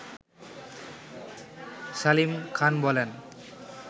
সালিম খান বলেন